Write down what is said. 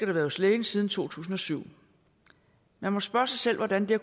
været hos lægen siden to tusind og syv man må spørge sig selv hvordan det